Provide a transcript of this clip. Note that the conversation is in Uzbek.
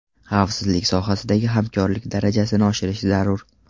Xavfsizlik sohasidagi hamkorlik darajasini oshirish zarur.